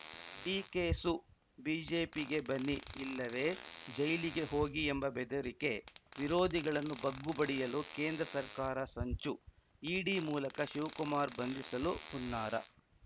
ಡಿಕೆಸು ಬಿಜೆಪಿಗೆ ಬನ್ನಿ ಇಲ್ಲವೇ ಜೈಲಿಗೆ ಹೋಗಿ ಎಂಬ ಬೆದರಿಕೆ ವಿರೋಧಿಗಳನ್ನು ಬಗ್ಗುಬಡಿಯಲು ಕೇಂದ್ರ ಸರ್ಕಾರ ಸಂಚು ಇಡಿ ಮೂಲಕ ಶಿವಕುಮಾರ್‌ ಬಂಧಿಸಲು ಹುನ್ನಾರ